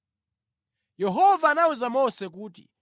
Yehova anawuza Mose kuti,